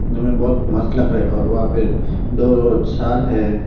यहां में बहोत मस्त लग रहा है और वहां पे दो सर है।